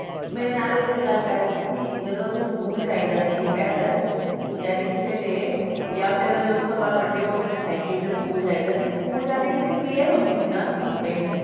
ਮੇਰੇ ਨਾਲ ਉਹੀ ਤਾਂ ਗੱਲ ਕਰ ਰਹੀ ਸੀ ਕੀ ਜਦੋ ਅਸੀਂ school ਜਾਈ ਦਾ ਸੀ ਪੈਦਲ ਜਾ ਰਿਕਸ਼ੇ ਤੇ ਯਾ ਫੇਰ ਉਸ ਤੋਂ ਬਾਅਦ ਵਡੇ ਹੋ ਗਏ ਤੇ cycle ਤੇ school ਜਾਈ ਦਾ ਸੀ school ਜਾ ਕੇ ਜਿਹੜੀ prayer ਹੁੰਦੀ ਸੀ ਨਾ ਧੁਪੇ